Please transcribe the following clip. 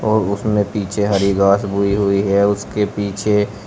और उसमें पीछे हरी घास बोई हुई है उसके पीछे।